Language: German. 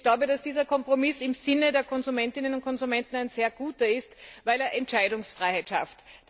Aber ich glaube, dass dieser Kompromiss im Sinne der Konsumentinnen und Konsumenten ein sehr guter ist, weil er Entscheidungsfreiheit schafft.